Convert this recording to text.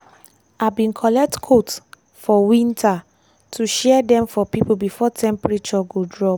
i bin collect coat for winter to share dem for pipo before temperature go drop.